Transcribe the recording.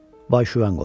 Vay-şüvən qopur.